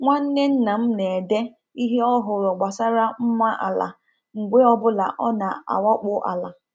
Nwanne nna m na-ede ihe ọ hụrụ gbasara mma ala mgbe ọ bụla ọ na-awakpo ala.